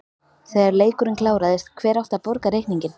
Þegar leikurinn kláraðist, hver átti að borga reikninginn?